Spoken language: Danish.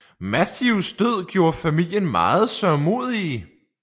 Matthews død gjorde familien meget sørgmodige